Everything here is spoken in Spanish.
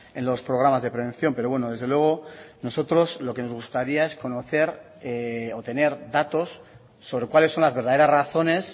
en los programas de prevención pero bueno desde luego nosotros lo que nos gustaría es conocer o tener datos sobre cuáles son las verdaderas razones